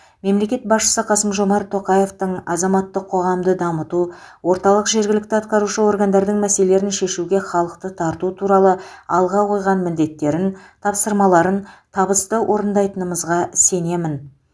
мемлекет басшысы қасым жомарт тоқаевтың азаматтық қоғамды дамыту орталық жергілікті атқарушы органдардың мәселелерін шешуге халықты тарту туралы алға қойған міндеттерін тапсырмаларын табысты орындайтынымызға сенемін